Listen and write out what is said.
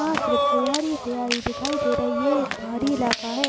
यहा सिर्फ हरियाली हरियाली दिखाई दे रही है यह एक पहाड़ी इलाका है।